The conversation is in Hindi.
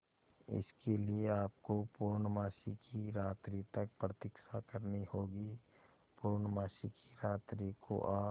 इसके लिए आपको पूर्णमासी की रात्रि तक प्रतीक्षा करनी होगी पूर्णमासी की रात्रि को आप